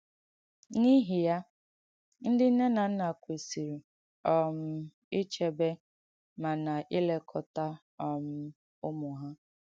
N’īhị ya, ndị nne na nna kwèsīrī um ìchēbē ma na-ìlékọ́tà um ùmù ha.